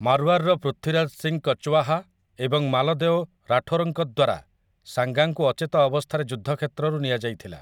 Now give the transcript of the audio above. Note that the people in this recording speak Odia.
ମାର୍ୱାର୍‌ର ପୃଥ୍ୱୀରାଜ ସିଂ କଚ୍ୱାହା ଏବଂ ମାଲଦେଓ ରାଠୋର୍‌ଙ୍କ ଦ୍ୱାରା ସାଙ୍ଗାଙ୍କୁ ଅଚେତ ଅବସ୍ଥାରେ ଯୁଦ୍ଧ କ୍ଷେତ୍ରରୁ ନିଆଯାଇଥିଲା ।